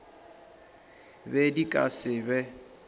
be di ka se be